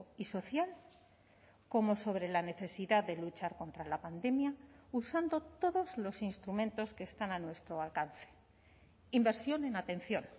y social como sobre la necesidad de luchar contra la pandemia usando todos los instrumentos que están a nuestro alcance inversión en atención